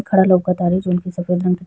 खाड़ा लउकत तारे जोवन की सफ़ेद रंग के --